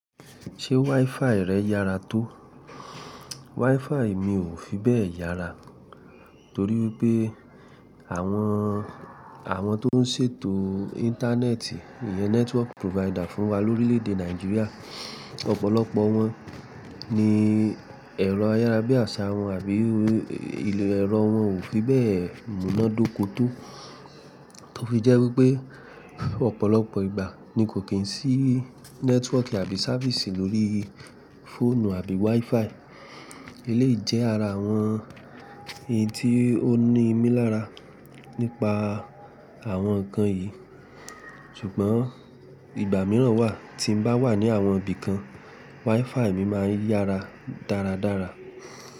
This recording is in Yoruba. Ṣé WiFi rẹ yára tó? WiFi mi ò fi bẹ́ẹ̀ yára torí wipé àwọn, àwọn tó ń ṣètò Íńtánẹ́ẹ̀tì, ìyẹn network provider fún wa lórílẹ̀ èdè Nàìjíríà, ọ̀pọ̀lọpọ̀ wọ́n ní ẹ̀rọ ayárabíàṣá wọn àbí ilẹ̀ ẹrọ wọn ò fi bẹ́ẹ̀ múná dóko tó. Tó fi jẹ́ wípẹ́ ọ̀pọ̀lọpọ̀ ìgbà ni kò kí n sí network àbí ṣávíìsì lórí fóònù àbí WiFi. Eléyìí jẹ́ ara àwọn èyí tí ó ní ìmílára nípa àwọn nǹkan yìí. Ṣùgbọ́n ìgbà mìíràn wà tí ń bá wà ní àwọn ibì kan, WiFi mi máa ń yára dáradára.